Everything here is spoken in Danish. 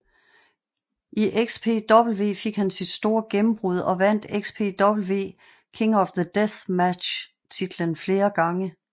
I XPW fik han sit store gennembrud og vandt XPW King of the Deathmatch titlen flere gange